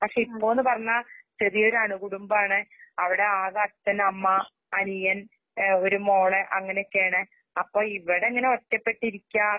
പക്ഷെഇപ്പൊന്ന്പറണാ ചെറിയൊരണുകുടുംബാണ്. അവിടെആകെ അച്ഛൻ, അമ്മ, അനിയൻ, ഏഹ് ഒര്മോള് അങ്ങനെക്കെയാണ്. അപ്പഇവിടിങ്ങനെഒറ്റപ്പെട്ടിരിക്കാ